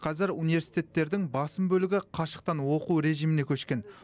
қазір университеттердің басым бөлігі қашықтан оқу режиміне көшкен